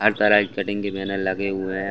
हर तरह के कटिंग के बैनर लगे हुए हैं।